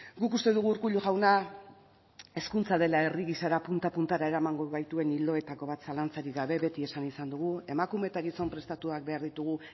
guk uste dugu urkullu jauna hezkuntza dela herri gisara punta puntara eramango gaituen ildoetako bat zalantzarik gabe beti esan izan dugu emakume eta gizon prestatuak behar ditugu